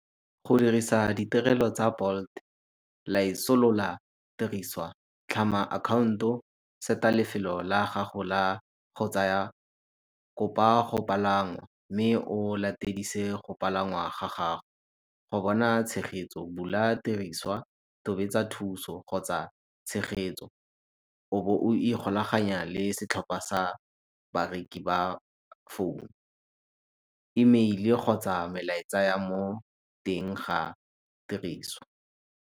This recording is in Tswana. Go dirisa ditirelo tsa Bolt tiriswa, tlhama akhaonto, seta lefelo la gago la go tsaya. Kopa go palama mme o latedise go palangwa ga gago. Go bona tshegetso bula tiriswa, tobetsa thuso kgotsa tshegetso o bo o ikgolaganya le setlhopha sa bareki ba founu, email-e kgotsa melatsa ya mo teng ga tiriso.